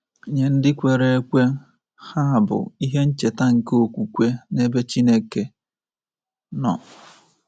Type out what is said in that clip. Nye ndị kwere ekwe, ha bụ ihe ncheta nke okwukwe n’ebe Chineke nọ.